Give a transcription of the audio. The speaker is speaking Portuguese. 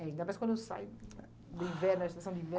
Ainda mais quando sai do inverno, a estação de inverno.